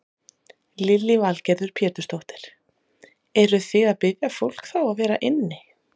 Lillý Valgerður Pétursdóttir: Eruð þið að biðja fólk þá að vera inni?